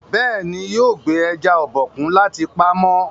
béèni yóò gbé eja Obokun láti pàmò.